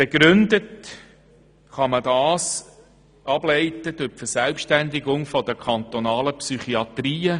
Begründen kann man das durch die Verselbständigung der kantonalen Psychiatrien.